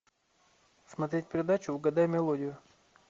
смотреть передачу угадай мелодию